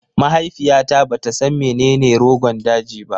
Mahaifiyata bata san menene Rogon daji ba